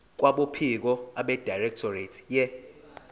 kwabophiko abedirectorate ye